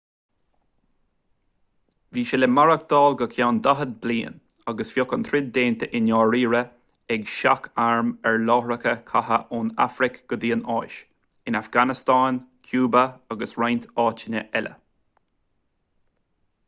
bhí sé le maireachtáil go ceann 40 bliain agus bheadh an troid déanta i ndáiríre ag seach-airm ar láithreacha catha ón afraic go dtí an áis in afganastáin cúba agus roinnt áiteanna eile